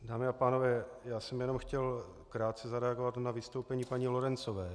Dámy a pánové, já jsem jenom chtěl krátce zareagovat na vystoupení paní Lorencové.